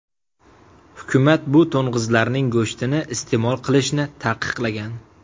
Hukumat bu to‘ng‘izlarning go‘shtini iste’mol qilishni taqiqlagan.